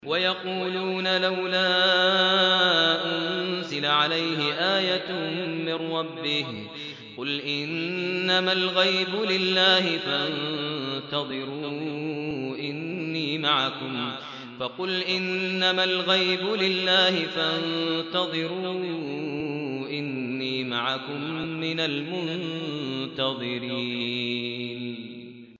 وَيَقُولُونَ لَوْلَا أُنزِلَ عَلَيْهِ آيَةٌ مِّن رَّبِّهِ ۖ فَقُلْ إِنَّمَا الْغَيْبُ لِلَّهِ فَانتَظِرُوا إِنِّي مَعَكُم مِّنَ الْمُنتَظِرِينَ